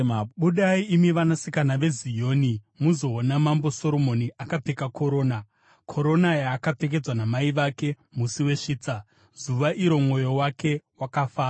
Budai imi vanasikana veZioni, muzoona Mambo Soromoni akapfeka korona, korona yaakapfekedzwa namai vake musi wesvitsa, zuva iro mwoyo wake wakafara.